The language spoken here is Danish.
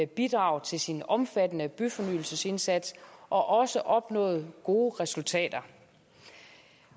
bidrag til sin omfattende byfornyelsesindsats og også opnået gode resultater